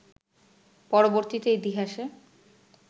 পরবর্তীতে ইতিহাসে